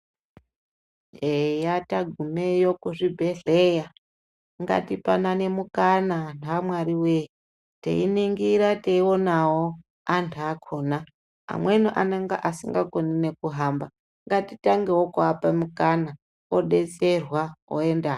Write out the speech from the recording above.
Eya tagumeyo kuzvibhedhleya ngatipanane mukana anhu aMwari wee. Teiningira teionawo antu akhona, amweni anenga asingakoni nekuhamba. Ngatitangewo kuapa mukana odetserwa, oenda.